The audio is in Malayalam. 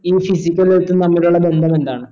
ഈ physical health ഉം തമ്മിലുള്ള ബന്ധം എന്താണ്